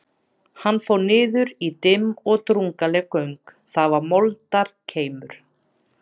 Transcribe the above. Hann fór niður í dimm og drungaleg göng, þar var moldarkeimur.